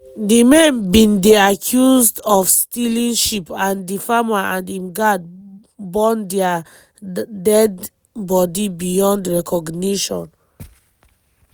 di men bin dey accused of stealing sheep and di farmer and im guard burn dia deadi bodi beyond recognition.